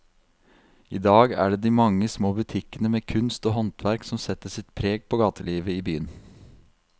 I dag er det de mange små butikkene med kunst og håndverk som setter sitt preg på gatelivet i byen.